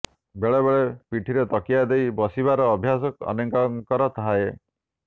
ବେଳେବେଳେ ପିଠିରେ ତକିଆ ଦେଇ ବସିବାର ଅଭ୍ୟାସ ଅନେକଙ୍କର ଥାଏ